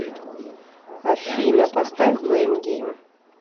афина поставь блэйм гейм